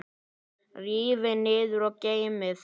Rífið niður og geymið.